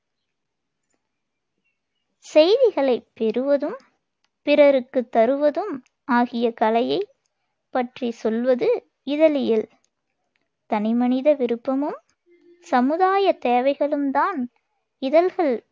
செய்திகளைப் பெறுவதும், பிறருக்குத் தருவதும் ஆகிய கலையைப் பற்றிச் சொல்வது இதழியல் தனிமனித விருப்பமும், சமுதாயத் தேவைகளும் தான் இதழ்கள்